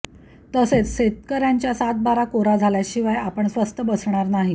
तसेच शेतकऱयांच्या सातबारा कोरा झाल्याशिवाय आपण स्वस्थ बसणार नाही